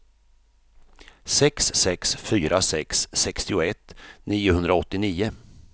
sex sex fyra sex sextioett niohundraåttionio